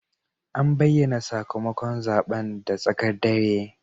An bayyana sakamakon zaben da tsakar dare.